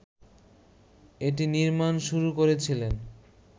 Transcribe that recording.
এটি নির্মাণ শুরু করেছিলেন